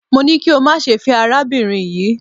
Mo ní kí o má ṣe fẹ́ arábìnrin yii